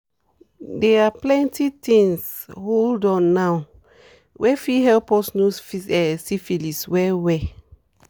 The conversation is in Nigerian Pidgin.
they are plenty things hold on now were f fit help us know syphilis well well